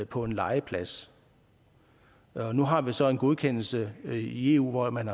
på en legeplads nu har vi så en godkendelse i eu hvor man